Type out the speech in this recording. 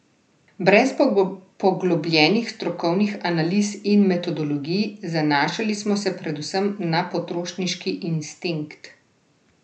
Brez poglobljenih strokovnih analiz in metodologij, zanašali smo se predvsem na potrošniški instinkt.